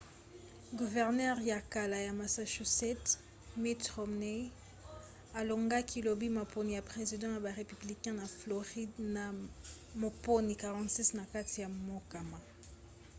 guvernere ya kala ya massachusetts mitt romney alongaki lobi maponi ya president ya ba républicain na floride na moponi 46 na kati ya mokama